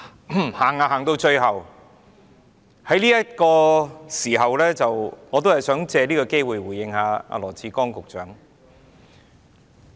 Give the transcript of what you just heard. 主席，來到最後這個時刻，我想借這個機會回應羅致光局長。